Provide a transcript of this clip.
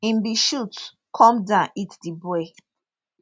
im bin shoot come down hit di boy